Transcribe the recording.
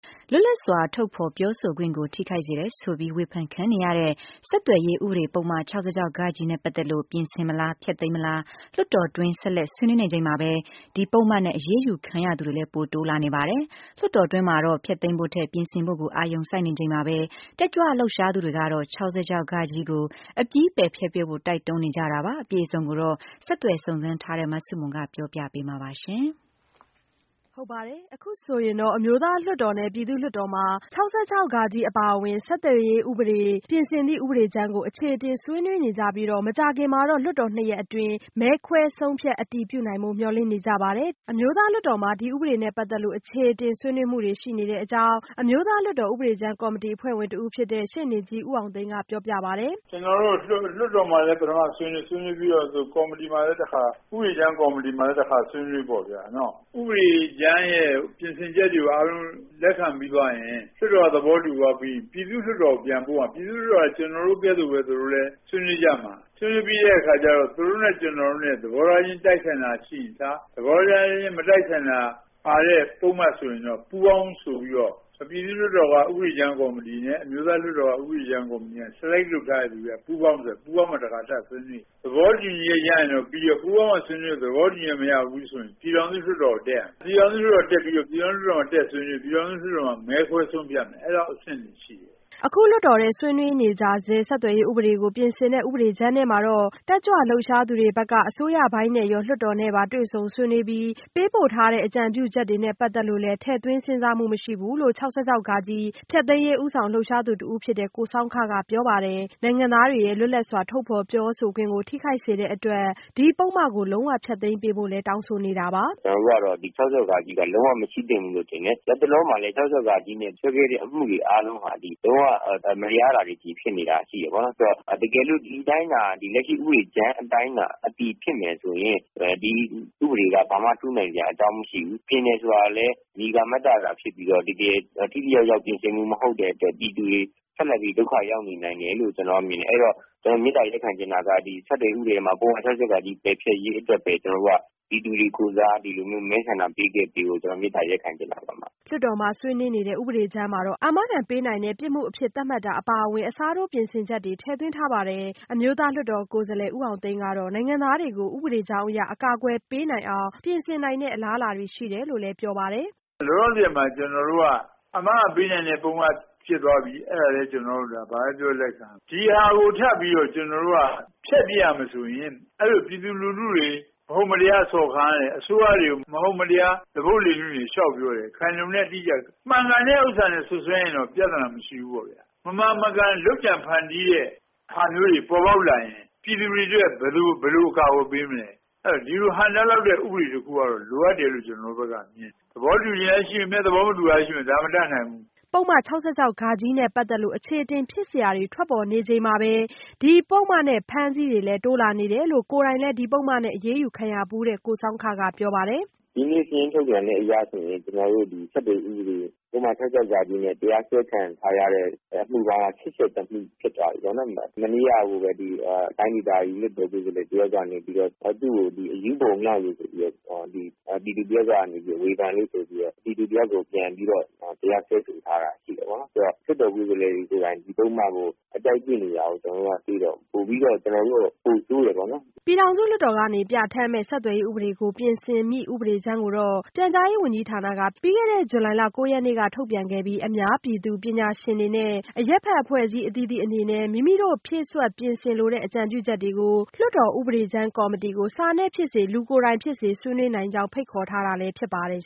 လွတ်လပ်စွာထုတ်ဖော်ပြောဆိုခွင့်တွေကို ထိခိုက်စေတယ်ဆိုပြီး ဝေဖန်ခံနေရတဲ့ ဆက်သွယ်ရေးဥပဒေပုဒ်မ ၆၆ နဲ့ ပတ်သက်လို့ ပြင်ဆင်မလား၊ ဖျက်သိမ်းမလား လွှတ်တော်တွင်း ဆက်လက် ဆွေးနွေးနေချိန်မှာပဲ၊ ဒီပုဒ်မနဲ့ အရေးယူခံရသူတွေလည်း ပိုတိုးလာနေပါတယ်။ လွှတ်တော်တွင်းမှာတော့ ဖျက်သိမ်းဖို့ထက် ပြင်ဆင်ဖို့ကို အာရုံစိုက်နေချိန်မှာပဲ တက်ကြွလှုပ်ရှားသူတွေကတော့၊ ၆၆ ကို အပြီးပယ်ဖျက်ပစ်ဖို့ တိုက်တွန်းနေကြတာပါ။ အပြည့်အစုံကိုတော့ ဆက်သွယ်စုံစမ်းထားတဲ့ မဆုမွန် ကပြောပြပေးမှာပါ။ အခုဆိုရင်တော့ အမျိုးသားလွှတ်တော်နဲ့ ပြည်သူ့လွှတ်တော်မှာ ၆၆ဃ အပါအဝင် ဆက်သွယ်ရေးဥပဒေ ပြင်ဆင်သည့်ဥပဒေကြမ်းကို အခြေအတင်ဆွေးနွေးနေကြပြီး မကြာခင်မှာ လွှတ်တော်နှစ်ရပ်အတွင်း မဲခွဲဆုံးဖြတ် အတည်ပြုနိုင်ဖို့ မျှော်လင့်နေကြပါတယ်။ အမျိုးသားလွှတ်တော်မှာ ဒီဥပဒေနဲ့ ပတ်သက်လို့ အခြေအတင် ဆွေးနွေးမှုတွေ ရှိခဲ့တဲ့အကြောင်း အမျိုးသားလွှတ်တော်ဥပဒေကြမ်းကော်မတီ အဖွဲ့ဝင်ဖြစ်တဲ့ ရှေ့နေကြီးဦးအောင်သိန်းက ပြောပြပါတယ်။ “ကျနော်တို့ လွှတ်တော်မှာလည်း ပထမ ဆွေးနွေး ဆွေးနွေးပြီးတော့ ဥပဒေကြမ်းကော်မတီမှာလည်း တခါ ၊ ဥပဒေကြမ်းကေ်ာမတီမှာလည်းတခါ ဆွေးနွေးတာပေါ့ခင်ဗျ။ ဥပဒေကြမ်းရဲ့ ပြင်ဆင်ချက်တွေကိုအားလုံး လက်ခံပြီးသွားရင် အမျိုးသားလွှတ်တော်က သဘောတူသွားပြီးရင် ပြည်သူ့လွှတ်တော်ကို ပြန်ပို့ရမှာ။ ပြည်သူ့လွှတ်တော်က ကျနော်တို့ကဲ့သို့ သူတို့လည်း ဆွေးနွေးကြမှာ ဆွေးနွေးပြီးတော့ သူတို့နဲ့ ကျနော်တို့နဲ့ သဘောထားခြင်း တိုက်ဆိုင်တာရှိတာတွေ၊ သဘောထားခြင်း မတိုက်ဆိုင်တာပါတဲ့ ပုဒ်မဆိုရင် ပူးပေါင်း ဆိုပြီးတော့ ပြည်သူ့လွှတ်တော်က ဥပဒေကြမ်းကော်မတီ နဲ့ အမျိုးသားလွှတ်တော်က ဥပဒေကြမ်းကော်မတီက Selected လုပ်ထားတဲ့လူတွေနဲ့ ပူးပေါင်းပြီးတော့ တခါထပ်ပြီးဆွေးနွေး။ သဘောတူညီချက်ရရင်တော့ ပြီးပြီ၊ သဘောတူညီချက်မရရင်တော့ ပြည်ထောင်စုလွှတ်တော်ကို တက်ရမယ်။ ပြည်ထောင်စုလွှတ်တော်ကို တက်ပြီးတော့ ပြည်ထောင်စုလွှတ်တော်မှာဆွေးနွေး ၊ ပြည်ထောင်စုလွှတ်တော်မှာ မဲခွဲဆုံးဖြတ်မယ် အဲဒီအဆင့်တွေရှိတယ်။” အခု လွှတ်တော်ထဲ ဆွေးနွေးကြဆဲ ဆက်သွယ်ရေးဥပဒေကို ပြင်ဆင်တဲ့ဥပဒေကြမ်းထဲမှာတော့ တတ်ကြွလှုပ်ရှားသူတွေဘက်က အစိုးရပိုင်းနဲ့ရော လွှတ်တော်နဲ့ပါ တွေ့ဆုံဆွေးနွေးပြီး ပေးပို့ထားတဲ့ အကြံပြုချက်တွေနဲ့ ပတ်သက်လို့လည်း ထည့်သွင်းစဉ်းစားမှု မရှိဘူးလို့ ၆၆ ဖျက်သိမ်း ဦးဆောင်လှုပ်ရှားသူတဦးဖြစ်တဲ့ ကိုဆောင်းခက ပြောပါတယ်။ နိုင်ငံသားတွေရဲ့ လွတ်လပ်စွာ ထုတ်ဖော်ပြောဆိုခွင့်ကို ထိခိုက်စေတဲ့အတွက် ဒီပုဒ်မကို လုံးဝဖျက်သိမ်းဖို့လည်း တောင်းဆိုနေတာပါ။ “ကျနော်တို့ကတော့ ဒီ ၆၆ က လုံးဝမရှိသင့်ဘူးလို့ထင်တယ်။ လက်တလောမှာလည်း ၆၆ နဲ့ စွဲခဲ့တဲ့ အမှုတွေအားလုံးက လုံးဝမတရားတာတွေ ဖြစ်နေတာရှိတယ်ပေါ့နော်။ တကယ်လို့ ဒီအတိုင်းသာ လက်ရှိ ဥပဒေကြမ်းအတိုင်းသာ အတည်ဖြစ်မယ်ဆိုရင် ဒီဥပဒေက ဘာမှထူးနိုင်စရာအကြောင်းမရှိဘူး။ ပြင်တယ်ဆိုတာကလည်း မည်ကာမတ္တသာဖြစ်ပြီးတော့ တကယ် ထိထိရောက်ရောက်ပြင်ဆင်မှုမဟုတ်တဲ့အတွက် ပြည်သူတွေ ဆက်လက်ပြီးတော့ ဒုက္ခရောက်နိုင်တယ်လို့ မြင်ပါတယ်။ အဲ့တော့ ကျနော်က မေတ္တာရပ်ခံချင်တာက ဆက်သွယ်ရေးဥပဒေထဲမှာ ပုဒ်မ ၆၆ ပယ်ဖျက်ရေးအတွက်ပဲ ကျနော်တို့က ပြည်သူတွေကိုယ်စား မဲဆန္ဒပေးခဲ့ဖို့ ကျနော်တို့က မေတ္တာရပ်ခံချင်တာပါ။” လွှတ်တော်မှာ ဆွေးနွေးနေတဲ့ ဥပဒေကြမ်းမှာတော့ အာမခံပေးနိုင်တဲ့ပြစ်မှုအဖြစ် သတ်မှတ်တာအပါအဝင် အစားထိုးပြင်ဆင်ချက်တွေ ထည့်သွင်းထားပါတယ်။ အမျိုးသားလွှတ်တော်ကိုယ်စားလှယ်ဦးအောင်သိန်းကတော့ နိုင်ငံသားတွေကို ဥပဒေကြောင်းအရ အကာအကွယ်ပေးနိုင်အောင် ပြင်ဆင်နိုင်တဲ့ အလားအလာတွေ ရှိတယ်လို့ ပြောပါတယ်။ “လောလောဆယ်မှာ ကျနော်တို့က အာမခံပေးနိုင်တဲ့ ပုဒ်မဖြစ်သွားပြီး ၊ အဲ့တာလည်း ဘာပဲပြောပြော ကျနော်တို့ လက်ခံရမယ်။ ဒီဟာကိုထပ်ပြီးတော့ ကျနော်တို့ ဖျက်ရမယ်ဆိုရင် ပြည်သူလူထုတွေ မဟုတ်မတရားစော်ကားနေ ၊ အစိုးရတွေကိုသွားပုတ်လေလွင့်တွေ လျှောက်ပြောတာတွေ ခိုင်လုံတဲ့ အထောက်အထားမရှိ။ မှန်ကန်တာနဲ့ စွပ်စွဲရင်တော့ ပြဿနာမရှိဘူး။ မမှန်မကန် လုပ်ကြံဖန်တီးတဲ့ ဟာမျိုးတွေ ပေါ်ပေါက်လာရင် ပြည်သူတွေအတွက် ဘယ်လိုကာကွယ်ပေးမလဲ။ အဲ့ဒီ့လိုဒီလိုဟန့်တားနိုင်တဲ့ ဥပဒေတခုကတော့ လိုအပ်တယ်လို့မြင်ပါတယ်။ သဘောတူတာတွေလည်းရှိမယ်၊ မတူတာတွေလည်းရှိမယ် ဒါကတော့ မတတ်နိုင်ဘူး။” ဆက်သွယ်ရေးပုဒ်မ ၆၆ နဲ့ ပတ်သက်လို့ အခြေအတင်ဖြစ်စရာတွေ ထွက်ပေါ်နေချိန်မှာပဲ၊ ဒီပုဒ်မနဲ့ အဖမ်းအဆီးတွေလည်း တိုးလာနေတယ်လို့ ကိုယ်တိုင်လည်း ဒီပုဒ်မနဲ့ အရေးယူခံခဲ့ရဖူးတဲ့ ကိုဆောင်းခက ပြောပါတယ်။ “ဒီနေ့ စာရင်းထုတ်ပြန်တဲ့အရဆိုရင် ကျနေ်ာတို့ ဆက်သွယ်ရေးဥပဒေ ပုဒ်မ ၆၆ နဲ့ တရားစွဲခံထားရတဲ့ အမှုပေါင်းက ၈၁ မှုဖြစ်သွားပြီပေါ့နော်။ မနေ့ကကိုပဲ တိုင်းဒေသကြီးလွှတ်တော်ကိုယ်စားလှယ် တယောက်ကနေပြီးတော့ သူ့ကို အရူးဘုံမြှောက်လို့ပြည်သူတယောက်ကနေပြီးတော့ ဝေဖန်လို့ဆိုပြီးတော့ ပြည်သူတစ်ယောက်ကို ပြန်ပြီးတော့ တရားစွဲဆိုထားတာရှိတယ်ပေါ့နော်။ လွှတ်တော်ကိုယ်စားလှယ်တယောက်ကနေပြီးတော့ ဒီပုဒ်မကို အကြိုက်တွေ့နေတာကို ကျနော်တို့တွေ့တော့ ပိုပြီးတော့ ပိုဆိုးတယ်ပေါ့နော်။” ပြည်ထောင်စုလွှတ်တော်က ပြဌာန်းမယ့် ဆက်သွယ်ရေးဥပဒေကို ပြင်ဆင်မယ့် ဥပဒေကြမ်းကိုတော့ ပြန်ကြားရေးဝန်ကြီးဌာနက ပြီးခဲ့တဲ့ ဇူလိုင်လ ၉ရက်နေ့ကပဲ ထုတ်ပြန်ခဲ့ပြီး အများပြည်သူ၊ ပညာရှင်တွေနဲ့ အရပ်အဖွဲ့အစည်းအသီးသီးအနေနဲ့ မိမိတို့ဖြည့်စွက်ပြင်ဆင်လိုတဲ့ အကြံပြုချက်တွေကို လွှတ်တော်ဥပဒေကြမ်းကော်မတီကို စာနဲ့ဖြစ်စေ၊ လူကိုယ်တိုင်ဖြစ်စေ ဆွေးနွေးနိုင်ကြောင်း ဖိတ်ခေါ်ထားတာလည်း ဖြစ်ပါတယ်